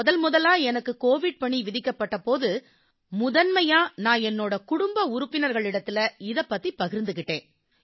முதன்முதலா எனக்கு கோவிட் பணி விதிக்கப்பட்ட போது முதன்மையா நான் என்னோட குடும்ப உறுப்பினர்களிடத்தில இதைப் பத்தி பகிர்ந்துக்கிட்டேன்